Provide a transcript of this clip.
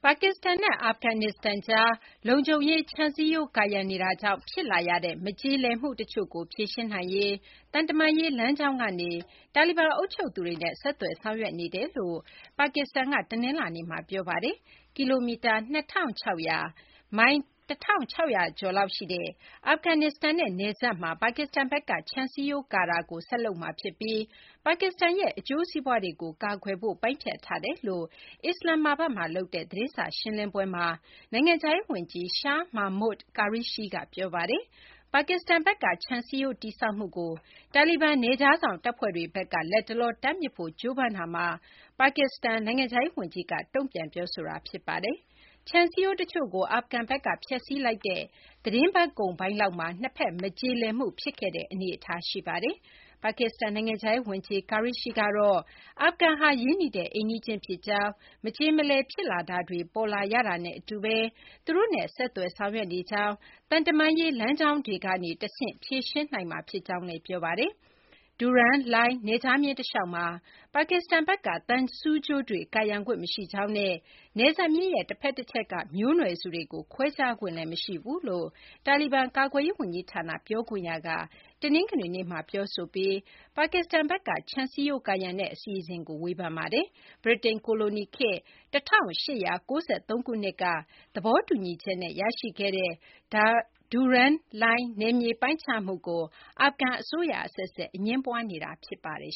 ါကစ္စတန်နဲ့ အာဖဂန်နစ္စတန်ကြား လုံခြုံရေး ခြံစည်ရိုး ကာရံ နေတာကြောင့် ဖြစ်လာရတဲ့ မကျေလည်မှု တချို့ကို ဖြေရှင်းနိုင်ရေး သံတမန်ရေး လမ်းကြောင်းကနေ တာလီဘန် အုပ်ချုပ်သူတွေနဲ့ ဆက်သွယ် ဆောင်ရွက်နေကြောင်း ပါကစ္စတန်က တနလာၤနေ့မှာ ပြောပါတယ်။ ကီလိုမီတာ ၂,၆၀၀ - မိုင် ၁၆၀၀ ကျော် လောက်ရှိတဲ့ အာဖဂန်နစ္စတန်နဲ့ နယ်စပ်မှာ ပါကစ္စတန်ဘက်က ခြံစည်းရိုး ကာတာကို ဆက်လုပ်မှာ ဖြစ်ပြီး ပါကစ္စတန်ရဲ့ အကျိုးစီးပွားတွေကို ကာကွယ်ဖို့ ပိုင်းဖြတ်ထားကြောင်း အစ္စလာမ္မာဘတ်မှာ လုပ်တဲ့ သတင်းစာ ရှင်းလင်းပွဲမှာ နိုင်ငံခြားရေး ဝန်ကြီး Shah Mehmood Qureshi က ပြောပါတယ်။ ပါကစ္စတန်ဘက်က ခြံစည်းရိုး တည်ဆောက်မှုကို တာလီဘန် နယ်ခြားစောင့် တပ်ဖွဲ့တွေဘက်က လတ်တလော တားမြစ်ဖို့ ကြိုးပမ်းမှုကို ပါကစ္စတန် နိုင်ငံခြားရေး ဝန်ကြီးက တုံ့ပြန် ပြောဆိုတာ ဖြစ်ပါတယ်။ ခြံစည်းရိုး တချို့ကို အာဖဂန်ဘက်က ဖျက်စီးလိုက်တဲ့ သီတင်းပတ်ကုန်ပိုင်းလောက်မှာ နှစ်ဘက် မကျေလည်မှု ဖြစ်ခဲ့တဲ့ အနေအထား ရှိပါတယ်။ ပါကစ္စတန် နိုင်ငံခြားရေး ဝန်ကြီး Qureshi ကတော့ အာဖဂန်ဟာ ရင်းနှီးတဲ့ အိမ်နီးချင်း ဖြစ်ကြောင်း၊ မကျေမလည် ဖြစ်တာတွေ ပေါ်လာရတာနဲ့ အတူဘဲ သူတို့နဲ့ ဆက်သွယ် ဆောင်ရွက်နေကြောင်းနဲ့ သံတမန်ရေး လမ်းကြောင်းတွေကနေ တဆင့် ဖြေရှင်းနိုင်မှာ ဖြစ်ကြောင်းလည်း ပြောပါတယ်။ Durand Line နယ်ခြားမျဉ်း တလျှောက်မှာ ပါကစ္စတန်ဘက်က သံဆူးကြိုးတွေ ကာရံခွင့် မရှိကြောင်းနဲ့ နယ်စပ်မျဉ်းရဲ့ တဖက်တချက်က မျိုးနွယ်စုတွေကို ခွဲခြားခွင့်လည်း မရှိကြောင်း တာလီဘန် ကာကွယ်ရေး ဝန်ကြီးဌာန ပြောခွင့်ရက တနင်္ဂနွေနေ့မှာ ပြောဆိုပြီး ပါကစ္စတန်ဘက်က ခြံစည်းရိုး ကာရံတဲ့ အစီအစဉ်ကို ဝေဖန်ခဲ့ပါတယ်။ ဗြိတိန် ကိုလိုနီခေတ် ၁၈၉၃ ခုနှစ်က သဘောတူညီချက်နဲ့ ရရှိခဲ့တဲ့ Durand Line နယ်မြေ ပိုင်းခြားမှုကို အာဖဂန် အစိုးရ အဆက်ဆက် အငြင်းပွားနေတာဖြစ်ပါတယ်